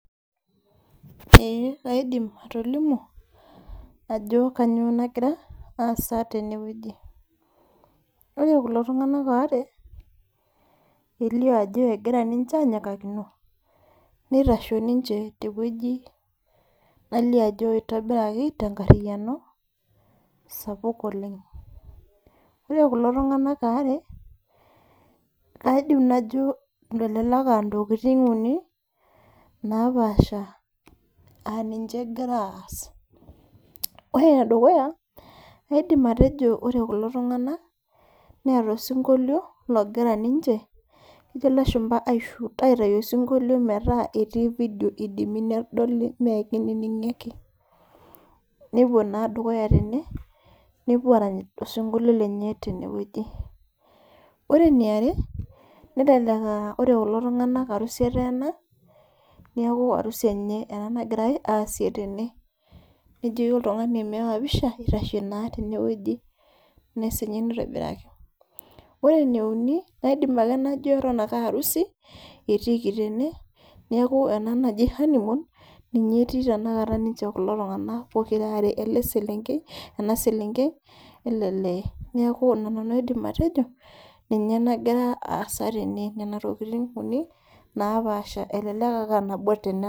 Eeh kaidim atolimu ajo kanyoo nagira aasa tenewueji ore kulo tung'anak waare elio ajo egira ninche anyikakino nitasho ninche tewueji nalio ajo itobiraki tenkarriyiano sapuk oleng ore kulo tung'anak aare aidim najo elelek antokiting uni napaasha aninche egira aas ore enedukuya aidim atejo ore kulo tung'anak neeta osinkolio logira ninche kejo ilashumpa ae shoot aitayu osinkolio metaa etii video idimi nedoli mee kinining'i ake nepuo naa dukuya tene nepuo arany ilo sinkolio lenye tenewueji ore eniare nelelek uh ore kulo tung'anak arusi eteena niaku arusi enye ena nagirae aasie tene nejoki oltung'ani meewa pisha itashe naa tenewueji nesinye nitobiraki ore ene uni naidim ake najo eton ake arusi etiiki tene neeku ena naji honey moon ninche tenakata ninche kulo tung'anak pokira are ele selenkei ena selenkei ele lee niaku ina nanu aidim atejo ninye nagira aasa tene nena tokiting uni napaasha elelek ake anabo tenena.